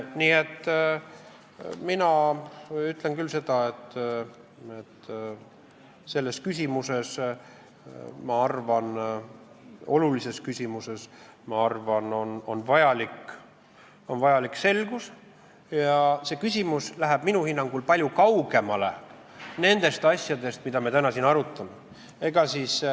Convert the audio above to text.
Nii et mina ütlen küll seda, et selles, ma arvan, olulises küsimuses, on vajalik selgus ja see küsimus läheb minu hinnangul palju kaugemale nendest asjadest, mida me täna siin arutame.